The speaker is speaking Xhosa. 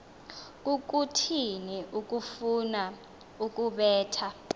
kukuthini ukufuna ukubetha